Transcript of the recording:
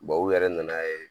u yɛrɛ nana ye